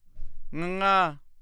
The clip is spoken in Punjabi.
ਙੰਙਾ